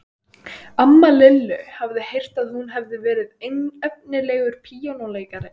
Amma Lillu hafði heyrt að hún hefði verið efnilegur píanóleikari.